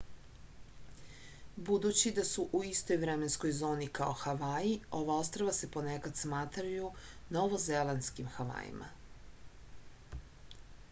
budući da su u istoj vremenskoj zoni kao havaji ova ostrva se ponekad smatraju novozelandskim havajima